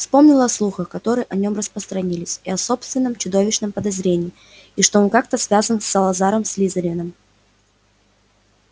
вспомнил о слухах которые о нем распространились и о собственном чудовищном подозрении и что он как-то связан с салазаром слизерином